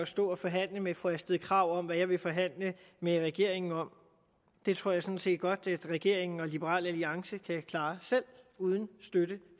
stå og forhandle med fru astrid krag om hvad jeg vil forhandle med regeringen om det tror jeg sådan set godt at regeringen og liberal alliance kan klare selv uden støtte